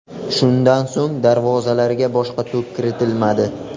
Shundan so‘ng darvozalarga boshqa to‘p kiritilmadi.